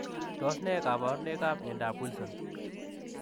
Tos ne kabarunoik ap miondop Wilson?